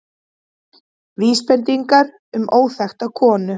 Vísbendingar um óþekkta konu